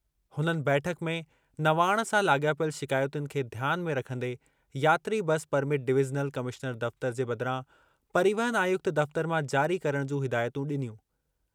हुननि बैठक में नवाण सां लाॻापियल शिकायतुनि खे ध्यान में रखंदे यात्री बस परमिट डिवीज़नल कमिश्नर दफ़्तर जे बदिरां परिवहन आयुक्त दफ़्तर मां जारी करणु जूं हिदायतूं ॾिनियूं।